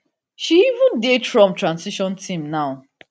she even dey trump transition team now